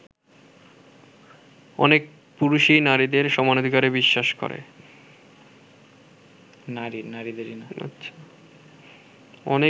অনেক পুরুষই নারীর সমানাধিকারে বিশ্বাস করে।